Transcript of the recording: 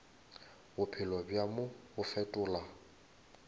bophelo bja mo bo fetola